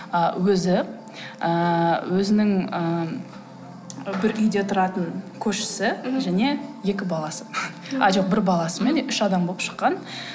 а өзі ыыы өзінің ыыы бір үйде тұратын көршісі және екі баласы а жоқ бір баласы мен үш адам болып шыққан